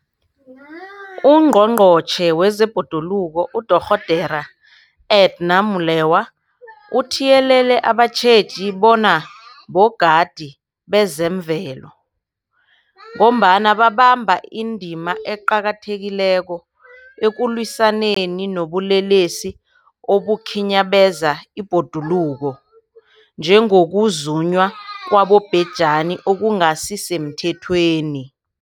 UNgqongqotjhe wezeBhoduluko uDorh Edna Molewa uthiyelele abatjheji bona bogadi bezemvelo, ngombana babamba indima eqakathekileko ekulwisaneni nobulelesi obukhinyabeza ibhoduluko, njengokuzunywa kwabobhejani okungasisemthethweni.